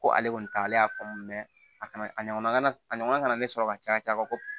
Ko ale kɔni ta y'ale y'a faamu mɛ a kana a ɲɔgɔnna kana a ɲɔgɔnna kana ne sɔrɔ ka caya caya kojugu